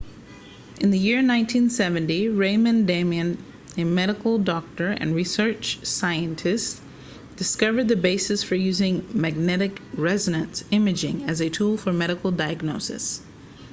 in the year 1970 raymond damadian a medical doctor and research scientist discovered the basis for using magnetic resonance imaging as a tool for medical diagnosis